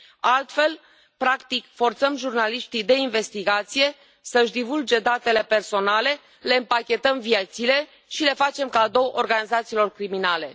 Altfel, practic, forțăm jurnaliști de investigație să își divulge datele personale, le împachetăm viețile și le facem cadou organizațiilor criminale.